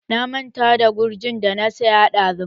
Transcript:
Na manta da gurjin da na saya ɗazun.